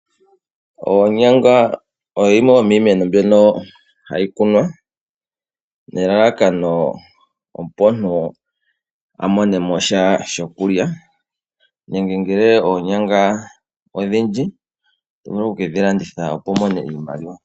Oonyanga oyo yimwe yomiimeno mbyono hayi kunwa. Ne lalakano opo omuntu a mone mo sha shokulya, nenge ngele oonyanga odhindji, oto vulu oku kedhi landitha opo wu mone iimaliwa.